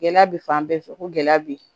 Gɛlɛya bɛ fan bɛɛ fɛ ko gɛlɛya be yen